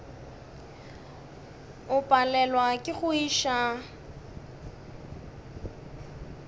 o palelwa ke go iša